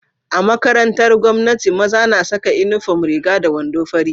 A makarantar gwamnati maza na Saka inufom Riga da wando fari